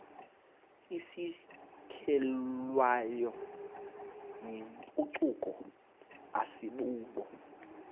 isukelwayo yimpucuko asibubo